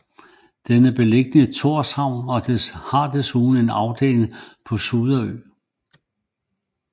Den er beliggende i Tórshavn og har desuden en afdeling på Suderø